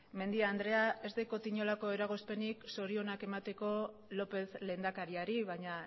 mendia andrea ez daukat inolako eragozpenik zorionak emateko lópez lehendakariari baina